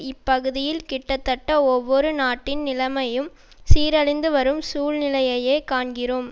இப்பகுதியில் கிட்டத்தட்ட ஒவ்வொரு நாட்டின் நிலைமையும் சீரழிந்து வரும் சூழ்நிலையையே காண்கிறோம்